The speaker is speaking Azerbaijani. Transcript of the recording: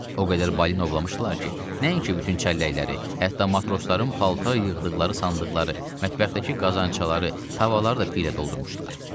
O qədər balina ovlamışdılar ki, nəinki bütün çəlləkləri, hətta matrosların paltar yığdıqları sandıqları, mətbəxdəki qazancları, tavaları da piylə doldurmuşdular.